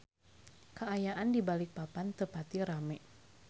Kaayaan di Balikpapan teu pati rame